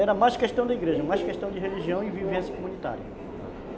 Era mais questão da igreja, mais questão de religião e vivência comunitária. Tá.